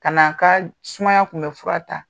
Ka na a ka sumaya tkun bɛ fura ta.